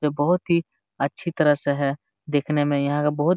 ये बहुत ही अच्छी तरह से है देखने में यह बहुत--